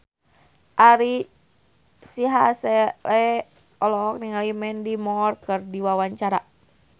Ari Sihasale olohok ningali Mandy Moore keur diwawancara